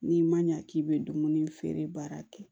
N'i ma ɲa k'i bɛ dumuni feere baara kɛ